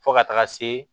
Fo ka taga se